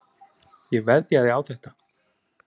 Ég veðjaði á þetta.